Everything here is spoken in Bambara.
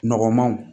Nɔgɔnmanw